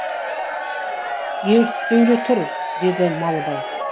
ерттеулі тұр деді малыбай